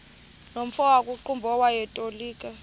nomfo wakuqumbu owayetolika